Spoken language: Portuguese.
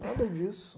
Nada disso.